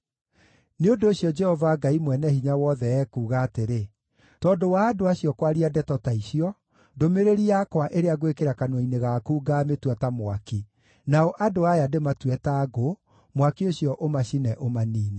Nĩ ũndũ ũcio, Jehova Ngai Mwene-Hinya-Wothe ekuuga atĩrĩ: “Tondũ wa andũ acio kwaria ndeto ta icio, ndũmĩrĩri yakwa ĩrĩa ngwĩkĩra kanua-inĩ gaku ngaamĩtua ta mwaki, nao andũ aya ndĩmatue ta ngũ, mwaki ũcio ũmacine ũmaniine.